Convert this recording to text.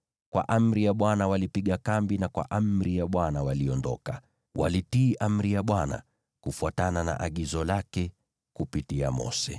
Kwa amri ya Bwana walipiga kambi, na kwa amri ya Bwana waliondoka. Walitii amri ya Bwana , kufuatana na agizo lake kupitia Mose.